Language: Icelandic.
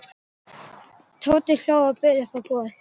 Tóti hló og bauð upp á gos.